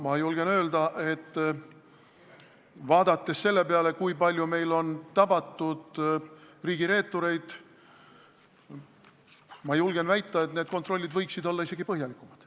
Ma julgen väita, vaadates seda, kui palju meil on tabatud riigireetureid, et need kontrollid võiksid olla isegi põhjalikumad.